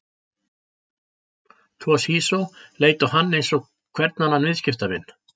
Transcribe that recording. Toshizo leit á hann eins og hvern annan viðskiptavin.